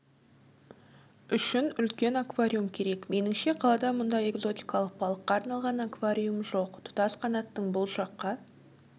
үшін үлкен аквариум керек меніңше қалада мұндай экзотикалық балыққа арналған аквариум жоқ тұтас қанаттың бұл жаққа